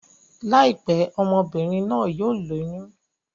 Láìpẹ́, ọmọ-bìnrin náà yóò lóyún.